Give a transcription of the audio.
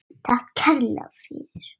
Takk kærlega fyrir.